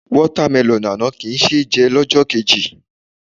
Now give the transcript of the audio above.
Water melon àná kì í ṣé jẹ lọ́jọ́ kejì.